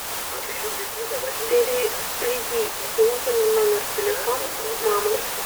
переведи деньги на номер телефона мамы